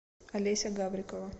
алеся гаврикова